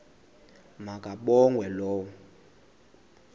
ma kabongwe low